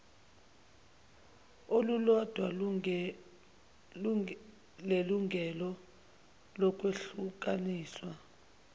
olulodwa lelungelo lokwehlukaniswa